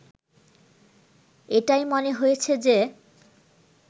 এটাই মনে হয়েছে যে